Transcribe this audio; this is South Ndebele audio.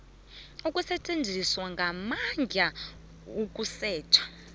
ukusetjenziswa kwamandla ukusetjha